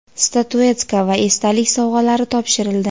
statuetka va esdalik sovg‘alari topshirildi.